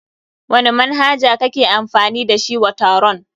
Wani manhaja kake amfani da shi wa taron?